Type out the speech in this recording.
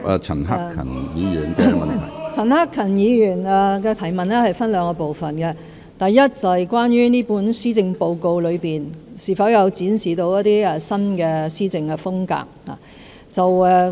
陳克勤議員的質詢分兩個部分，第一，這份施政報告有否展示新的施政風格。